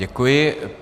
Děkuji.